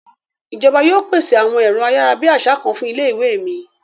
Ìjọba yóò pèsè àwọn èrọ ayárabíàṣá kan fún ilé ìwé mi.